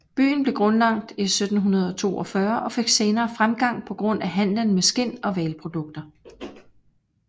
Byen blev grundlagt i 1742 og fik senere fremgang på grund af handelen med skind og hvalprodukter